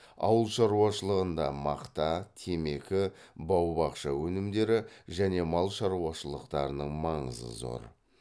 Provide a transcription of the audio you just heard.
ауыл шаруашылығында мақта темекі бау бақша өнімдері және мал шаруашылықтарының маңызы зор